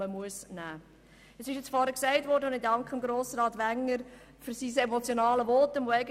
Ich danke Grossrat Wenger für sein emotionales Votum.